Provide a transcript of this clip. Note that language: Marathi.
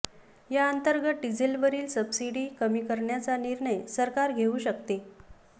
याअंतर्गत डिझेलवरील सबसिडी कमी करण्याचा निर्णय सरकार घेऊ शकते